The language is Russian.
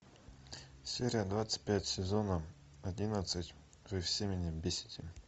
серия двадцать пять сезона одиннадцать вы все меня бесите